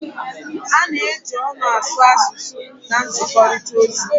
A na-eji ọnụ asụ asụsụ asụsụ na nzikọrịta ozi